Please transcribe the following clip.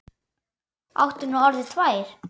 Áttu nú orðið tvær?